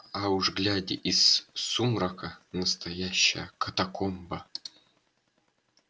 а уж глядя из сумрака настоящая катакомба